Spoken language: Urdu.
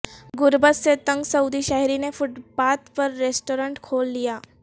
غربت سے تنگ سعودی شہری نے فٹ پاتھ پر ریستوران کھول لیا